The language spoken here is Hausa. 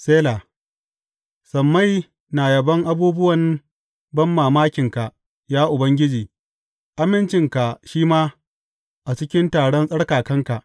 Sela Sammai na yabon abubuwan banmamakinka, ya Ubangiji, amincinka shi ma, a cikin taron tsarkakanka.